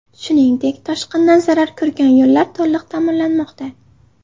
Shuningdek, toshqindan zarar ko‘rgan yo‘llar to‘liq ta’mirlanmoqda.